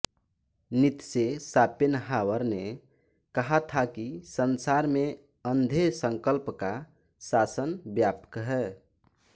Nietzsche Schopenhauer ने कहा था कि संसार में अंधे संकल्प का शासन व्यापक है